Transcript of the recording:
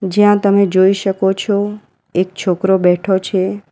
જ્યાં તમે જોઈ શકો છો એક છોકરો બેઠો છે.